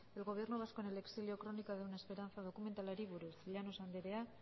el gobierno vasco en el exilio crónica de una esperanza dokumentalari buruz llanos andrea